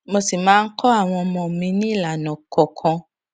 mo sì máa ń kó àwọn ọmọ mi ní ìlànà kọọkan